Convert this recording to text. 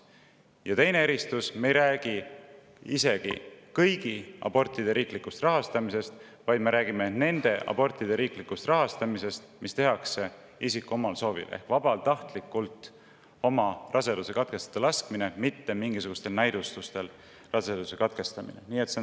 Ja teine eristus: me ei räägi kõigi abortide riiklikust rahastamisest, vaid selliste abortide riiklikust rahastamisest, mida tehakse isiku enda soovil: vabatahtlikult oma raseduse katkestada laskmine, mitte raseduse katkestamine mingisugusel näidustusel.